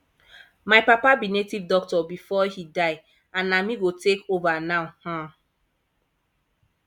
my papa be native doctor before he die and na me go take over now um